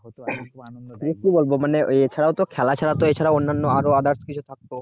হত খুবই আনন্দ কি বলবো মানে খেলা তো এছাড়া তো খেলা ছাড়া তো অন্যান্য আরো কিছু